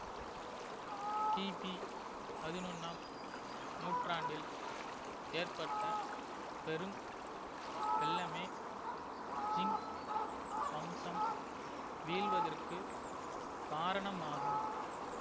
கிபி பதினொன்னாம் நூற்றாண்டில் ஏற்பட்ட பெரும் வெள்ளமே ஜிங் வம்சம் வீழ்வதற்கு காரணமாகும்